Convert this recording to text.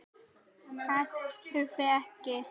Þess þurfti ekki.